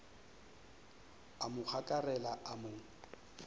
a mo gokarela a mo